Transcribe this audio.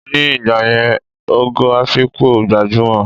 Ni ìgbàyẹn, Ògo Afikpo gbajúmò